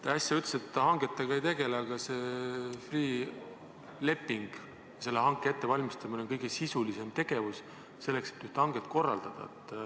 Te äsja ütlesite, et te hangetega ei tegele, aga see Freeh' leping – sellegi hanke ettevalmistamine on kõige sisulisem tegevus selleks, et hanget korraldada.